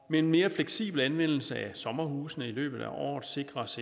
med en mere fleksibel anvendelse af sommerhusene i løbet af året sikres